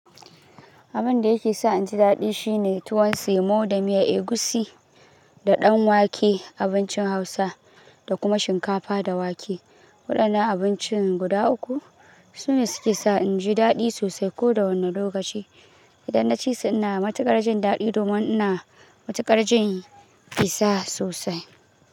Abin da yake sa in ji daɗi shine tuwon semo da miya egusi, da ɗan wake- abincin Hausa, da kuma shinkafa da wake. Waɗannan abinci guda uku sune suke sa in ji daɗi sosai ko da wane lokaci. Idan na ci su ina matuƙar jin daɗi domin ina matuƙar jin kisa sosai.